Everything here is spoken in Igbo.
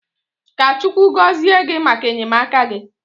Ka Chukwu gozie gị maka enyemaka gị.